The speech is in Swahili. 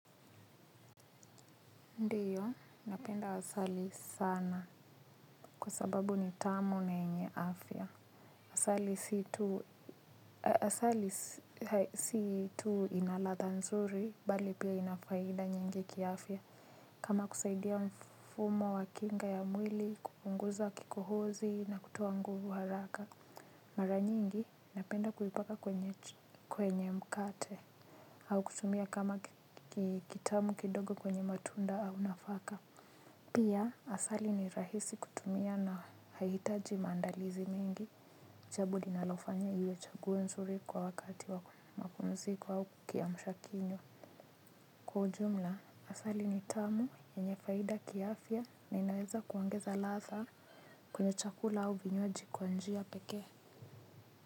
Ndiyo, napenda asali sana kwa sababu ni tamu na enye afia. Asali si tu inaladha nzuri, bali pia inafaida nyingi kia afia. Kama kusaidia mfumo wa kinga ya mwili, kupunguza kikohozi na kutuo nguvu haraka. Mara nyingi, napenda kuhipaka kwenye mkate. Au kutumia kama kitamu kidogo kwenye matunda au nafaka. Asali ni rahisi kutumia na haitaji maandalizi mingi, jabo linalofanya iwe chaguo nzuri kwa wakati wa mapumziko ao kiamshakinyo. Kwa ujumla asali ni tamu yenye faida kiafya na inaweza kuongeza ladha kwenye chakula au vinywaji kwa njia pekee.